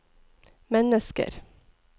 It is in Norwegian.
mennesker